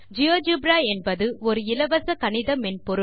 GeoGebra என்பது ஒரு இலவச கணித மென்பொருள்